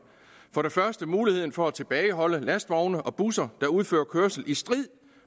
for det første muligheden for at tilbageholde lastvogne og busser der udfører kørsel i strid